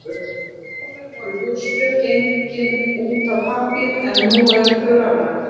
Áður voru húsbréf gefin út á pappír en nú eru þau rafræn.